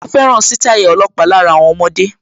Ó fẹ́ràn sítáì ọlọ́pàá lára àwọn ọmọdé